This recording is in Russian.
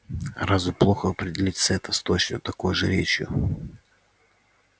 а разве плохо опередить сетта с точно такой же речью